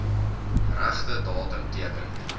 regte datum teken